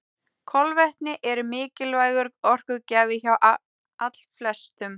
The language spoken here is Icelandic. Kolvetni eru mikilvægur orkugjafi hjá allflestum.